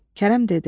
Kərəm dedi: